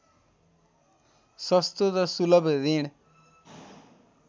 सस्तो र सुलभ ऋण